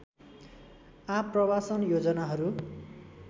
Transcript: आप्रवासन योजनाहरू